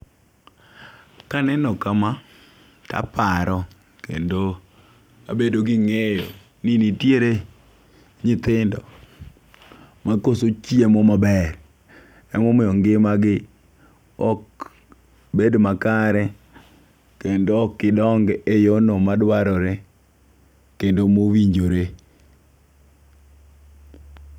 Kaneno kama, taparo kendo abedo gi ng'eyo ni nitiere nyithindo makoso chiemo maber. Emomiyo ngima gi ok bed makare kendo ok idong e yoo no madwarore kendo mowinjore.